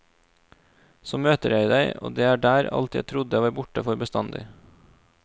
Så møter jeg deg og det er der alt jeg trodde var borte for bestandig.